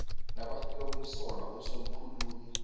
nabafika kumsolwa usomkhulumi